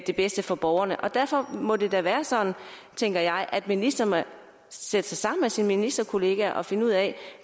det bedste for borgerne og derfor må det da være sådan tænker jeg at ministeren sætter sig sammen med sine ministerkolleger og finder ud af